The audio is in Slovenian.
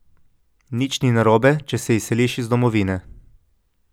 Nič ni narobe, če se izseliš iz domovine.